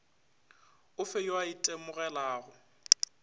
o fe yo a itemogelago